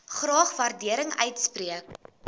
graag waardering uitspreek